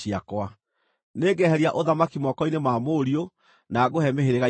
Nĩngeheria ũthamaki moko-inĩ ma mũriũ na ngũhe mĩhĩrĩga ikũmi.